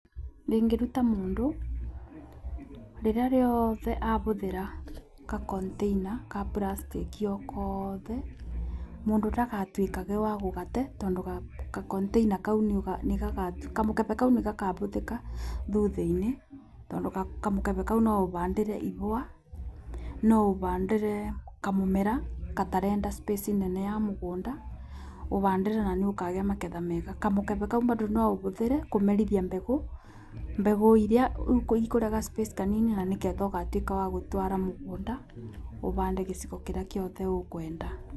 Ingĩruta mũndũ rĩrĩa rĩothe abũthĩta ga container ga puracitĩki ogothe, mũndũ ndagatuĩkage wagũgate, tondũ ga container kau, kamũkebe nĩgakabũthĩka thutha-inĩ. Tondũ kamũkebe kau noũhandĩre ihũa, noaũhandĩre kamũmera gatarenda space nene ya mũgũnda, ũhandĩre na nĩũkagĩa magetha mega. Kamũkebe kau mbando ũbothĩre kũmerithia mbegũ, mbegũ irĩa ikũrĩa ga space kanini na nĩgetha ũgatuĩka wagũtwara mũgũnda, ũhande gĩcigo kĩrĩa gĩothe ũkwenda.